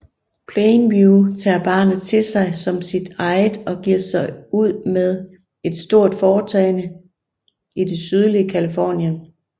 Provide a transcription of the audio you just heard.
Plainview tager barnet til sig som et eget og giver sig ud med et stort foretagende i det sydlige Californien